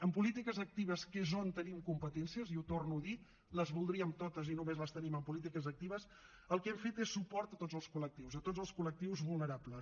en polítiques actives que és on tenim competències i ho torno a dir les voldríem totes i només les tenim en polítiques actives el que hem fet és suport a tots els col·lectius a tots els col·lectius vulnerables